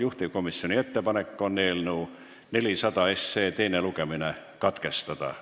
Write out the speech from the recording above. Juhtivkomisjoni ettepanek on eelnõu 400 teine lugemine katkestada.